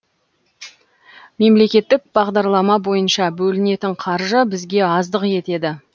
мемлекеттік бағдарлама бойынша бөлінетін қаржы бізге аздық етеді